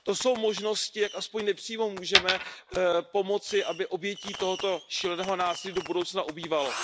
To jsou možnosti, jak aspoň nepřímo můžeme pomoci, aby obětí tohoto šíleného násilí do budoucna ubývalo.